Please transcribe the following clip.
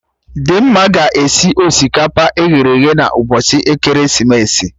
Dimma ga-esi osikapa eghere eghe na ụbọchị ekeresimesi